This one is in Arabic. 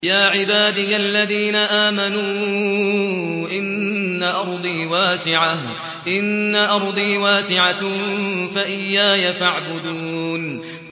يَا عِبَادِيَ الَّذِينَ آمَنُوا إِنَّ أَرْضِي وَاسِعَةٌ فَإِيَّايَ فَاعْبُدُونِ